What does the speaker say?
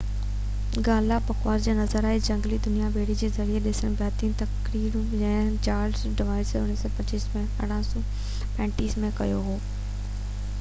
Galapagos جا نظارا ۽ جهنگلي دنيا ٻيڙي جي ذريعي ڏسڻ بهترين طريقو آهي جيئن چارلس ڊارون 1835 م ڪيو هو